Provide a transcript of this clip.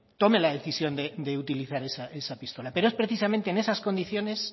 tome la decisión de utilizar esa pistola pero es precisamente en esas condiciones